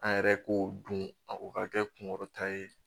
An yɛrɛ k'o dun o ka kɛ kunkɔrɔta ye